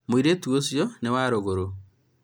mũirĩtu ũcio nĩ wa rũgũrũ